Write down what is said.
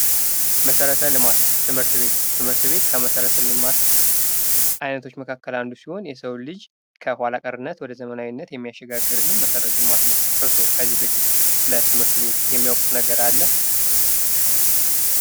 መሠረተ ልማት ትምህርት ቤት ትምህርት ቤት ከመሰረተ ልማት ዓይነቶች መካከል አንዱ ሲሆን፤ የሰው ልጅ ከኋላ ቀርነት ወደ ዘመናዊነት የሚያሸጋግርልን መሠረተ ልማት ነው። እርስዎ ከዚህ በፊት ስለ ትምህርት ቤት የሚያውቁት ነገር አለ?